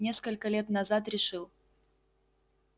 несколько лет назад решил